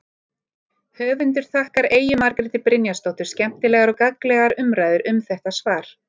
Höfundur þakkar Eyju Margréti Brynjarsdóttur skemmtilegar og gagnlegar umræður um þetta svar.